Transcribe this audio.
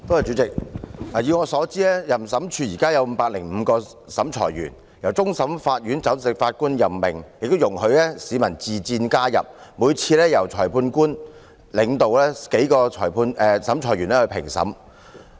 以我所知，審裁處現時有505名審裁委員，由終審法院首席法官任命，亦容許市民自薦加入，每次評審由主審裁判官領導數名審裁委員進行。